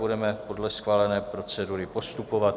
Budeme podle schválené procedury postupovat.